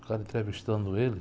O cara entrevistando ele.